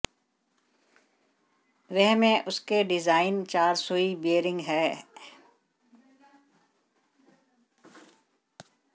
वह में उसके डिजाइन चार सुई बीयरिंग है है